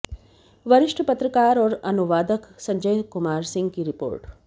वरिष्ठ पत्रकार और अनुवादक संजय कुमार सिंह की रिपोर्ट